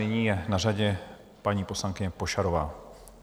Nyní je na řadě paní poslankyně Pošarová.